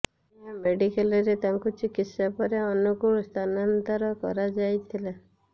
କଣିହାଁ ମେଡିକାଲରେ ତାଙ୍କୁ ଚିକିତ୍ସା ପରେ ଅନୁଗୁଳ ସ୍ଥାନାନ୍ତର କରାଯାଇଥିଲା